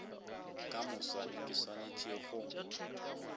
ka moswane ke swanetše go